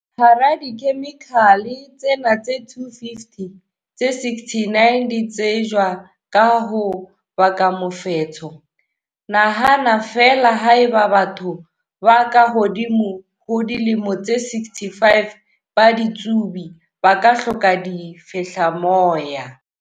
Hara dikhemikhale tsena tse 250, tse 69 di tsejwa ka ho baka mofetshe. Nahana feela haeba batho ba ka hodimo ho dilemo tse 65 ba ditsubi, ba ka hloka difehlamoya.